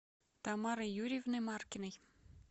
тамарой юрьевной маркиной